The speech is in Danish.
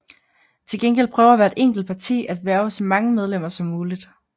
Til gengæld prøver hvert enkelt parti at hverve så mange medlemmer som muligt